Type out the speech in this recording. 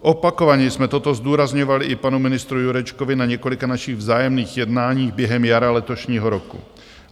Opakovaně jsme toto zdůrazňovali i panu ministrovi Jurečkovi na několika našich vzájemných jednání během jara letošního roku.